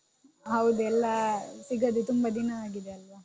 ಹೌದು ಎಲ್ಲ ಸಿಗದೇ ತುಂಬ ದಿನ ಆಗಿದೆ ಅಲ್ವಾ.